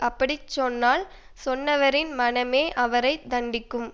அப்படி சொன்னால் சொன்னவரின் மனமே அவரை தண்டிக்கும்